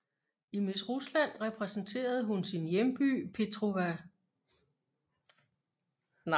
I Miss Rusland repræsenterede hun sin hjemby Petrosavodsk